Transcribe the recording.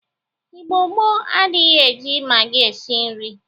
Igbo gboo adịrighi eji magị esi nri.